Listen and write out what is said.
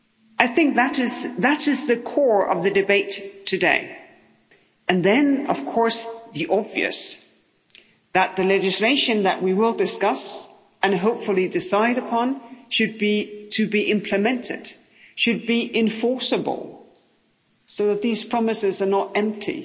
I think that is the core of the debate today and then, of course, the obvious that the legislation that we will discuss and hopefully decide upon, should be implemented, should be enforceable, so that these promises are not empty,